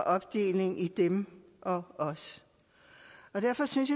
opdeling i dem og os derfor synes